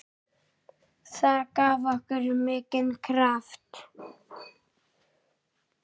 Það gaf okkur mikinn kraft.